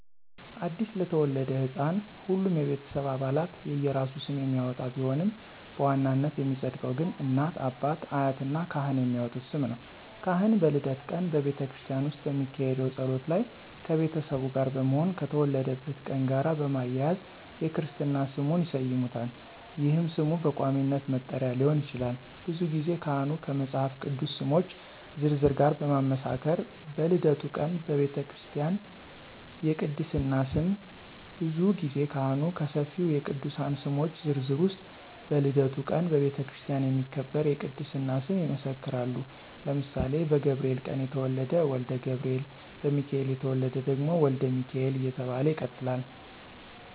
አዲስ ለተወለደ ሕፃን ሁሉም የቤተሰብ አባላት የየራሱን ስም የሚያወጣ ቢሆንም በዋናነት የሚፀድቀው ግን እናት፣ አባት፣ አያት እና ካህን የሚያወጡት ስም ነው። ካህን በልደት ቀን በቤተክርስቲያን ውስጥ በሚካሄደው ጸሎት ላይ ከቤተሰቡ ጋር በመሆን ከተወለደበት ቀን ጋር በማያያዝ የክርስትና ስሙን ይሰይሙታል ይህም ስም በቋሚነት መጠሪያ ሊሆን ይችላል። ብዙ ጊዜ ካህኑ ከመፃፍ ቅዱስ ስሞች ዝርዝር ጋር በማመሳከር በልደቱ ቀን በቤተክርስቲያ የቅድስና ስም ብዙ ጊዜ ካህኑ ከሰፊው የቅዱሳን ስሞች ዝርዝር ውስጥ በልደቱ ቀን በቤተክርስቲያን የሚከበር የቅድስና ስም ይመሰክራሉ ለምሳሌ በገብርኤል ቀን የተወለደ ወልደ ገብርኤል፣ በሚካኤል የተወለደ ደግሞ ወልደ ሚካኤል እየተባለ ይቀጥላለ።